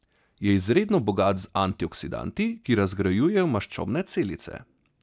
Je izredno bogat z antioksidanti, ki razgrajujejo maščobne celice.